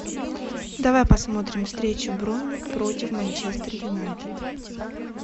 давай посмотрим встречу борнмут против манчестер юнайтед